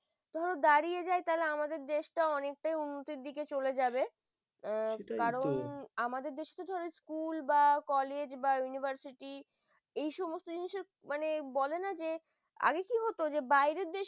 ধরো দাঁড়িয়ে যাই দেশটা অনেকটাই উন্নতির দিকে চলে যাবে সেটাইতো কারণ আমাদের দেশে school বা college বা university এ সমস্ত জিনিসের মানে বলে না যে আগে কি হতো বাইরের দেশে